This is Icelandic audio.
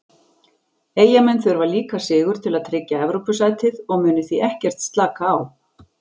Eyjamenn þurfa líka sigur til að tryggja Evrópusætið og munu því ekkert slaka á.